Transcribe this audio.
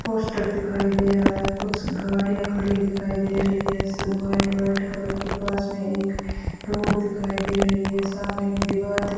poster दिखाई दे रहा है कुछ गाड़ियां खड़ी दिखाई दे रही है सब व्हाइट व्हाइट कलर की पास में एक रोड दिखाई दे रही है सामने एक दीवार --